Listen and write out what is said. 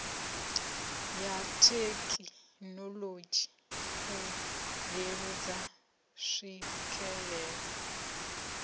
ya thekinolodzhi u leludza tswikelelo